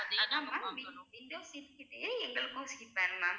அதா ma'am window கிட்டயே எங்களுக்கும் seat வேணும் ma'am